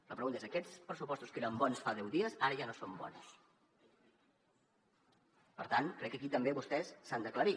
la pregunta és aquests pressupostos que eren bons fa deu dies ara ja no són bons per tant crec que aquí també vostès s’han d’aclarir